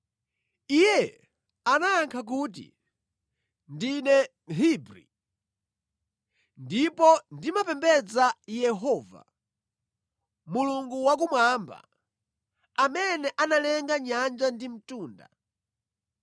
Iye anayankha kuti, “Ndine Mhebri, ndipo ndimapembedza Yehova, Mulungu Wakumwamba, amene analenga nyanja ndi mtunda.”